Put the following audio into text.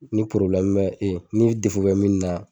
Ni porobilɛmu be min na e ni defo be min na